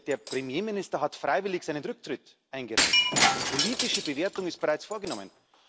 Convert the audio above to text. Der Premierminister hat freiwillig seinen Rücktritt eingereicht. Die politische Bewertung ist bereits vorgenommen.